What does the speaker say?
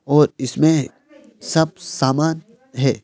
और इसमें सब सामान है।